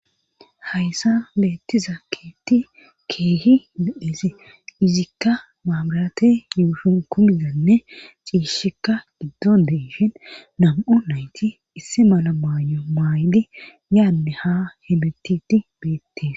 Hayssa beetti zakkeeti keehi bedezi izikka maabarate yuushun kumizanne ciishikka giddon deishin nam'u nayti isse mala maayo maaydi yaanne ha hebetiti beettees.